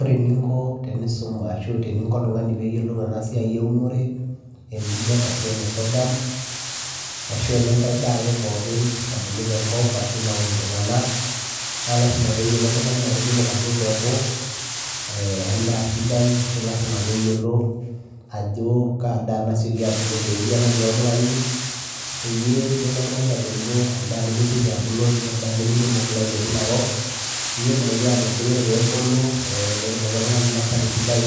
ore eninko tenisum ashu teninko oltung'ani peyiolou ena siai eunore e millet ashu ene sorghum ashu enenkae daa ake pookin nabulu tenkop ashu naun iltung'anak naa lasima peyiolo oltung'ani ategelu enaduo peku eh endaa sidai ashu lasima peyiolo ajo kaa daa nasioki abulu te area natii oltung'ani peyie melo oltung'ani agelu endaa nemesioki abulu ashu endaa nimidimu climate enakop peyie etumoki atu tioro pebulu eh netumoki oltung'ani ainasa tesidai